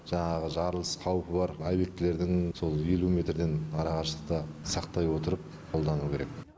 жаңағы жарылыс қауіпі бар обьектілердің сол елу метрден ара қашықтықты сақтай отырып қолдану керек